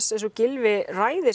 eins og Gylfi ræðir